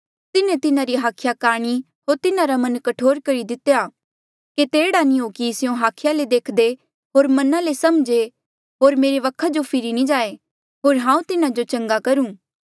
तिन्हें तिन्हारी हाखिया काणी होर तिन्हारा मन कठोर करी दितेया केते एह्ड़ा नी हो कि स्यों हाखिया ले देखदे होर मना ले समझे होर मेरे वखा जो फिरी नी जाए होर हांऊँ तिन्हा जो चंगा करूं